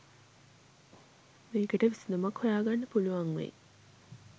මේකට විසඳුමක් හොයාගන්න පුළුවන් වෙයි